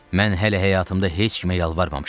Mən hələ həyatımda heç kimə yalvarmamışam.